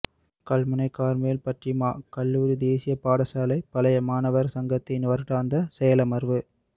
Kalmunai Carmel Fatima கல்லூரி தேசிய பாடசாலை பழைய மாணவர் சங்கத்தின் வருடாந்த செயலமர்வு